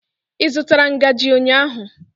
Ị zụtara ngaji ụnyaahụ?